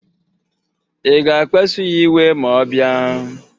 Ị ga-akpasu ya iwe ma ọ bịa?